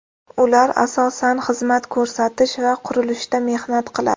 Ular asosan xizmat ko‘rsatish va qurilishda mehnat qiladi.